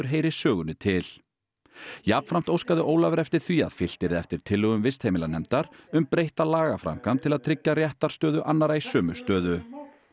heyri sögunni til jafnframt óskaði Ólafur eftir því að fylgt yrði eftir tillögum vistheimilanefndar um breytta lagaframkvæmd til að tryggja réttarstöðu annarra í sömu stöðu